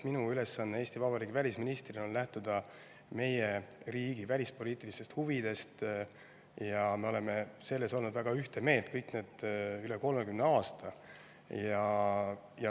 Minu ülesanne Eesti Vabariigi välisministrina on lähtuda meie riigi välispoliitilistest huvidest ja me oleme nendes olnud üle 30 aasta väga ühte meelt.